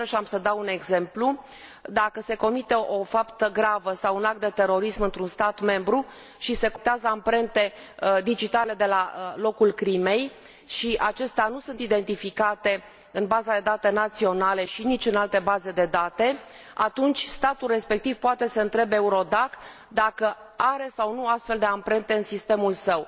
Și iarăși am să dau un exemplu dacă se comite o faptă gravă sau un act de terorism într un stat membru și se colectează amprente digitale de la locul crimei, iar acestea nu sunt identificate în baza de date națională și nici în alte baze de date, atunci statul respectiv poate să întrebe EURODAC dacă are sau nu astfel de amprente în sistemul său.